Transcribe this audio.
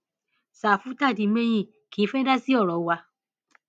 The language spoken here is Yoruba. ṣàfù tàdí mẹyìn kì í fẹẹ dá sí ọrọ wa